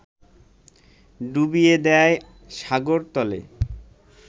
ডুবিয়ে দেয় সাগরতলে